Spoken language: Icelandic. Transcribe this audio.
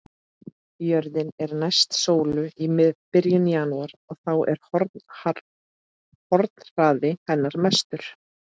Jörðin er næst sólu í byrjun janúar og þá er hornhraði hennar mestur.